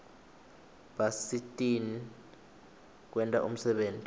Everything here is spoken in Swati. basisitn kwenta umsebenti